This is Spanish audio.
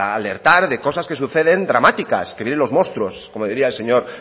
a alertar de cosas que suceden dramáticas que vienen los monstruos como diría el señor